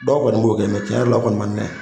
Dɔw kɔni b'o kɛ mɛ cɛn yɛrɛ la o kɔni na